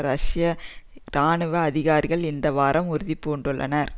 ரஷ்ய இராணுவ அதிகாரிகள் இந்த வாரம் உறுதி பூண்டுள்ளனர்